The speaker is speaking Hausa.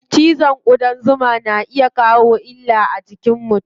Cizon ƙudan zuma na iya kawo illa a jikin mutum.